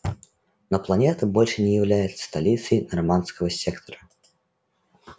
но планета больше уже не является столицей норманского сектора